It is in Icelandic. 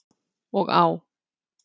Og á.